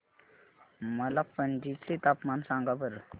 मला पणजी चे तापमान सांगा बरं